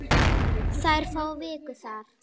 Þær fá viku þar.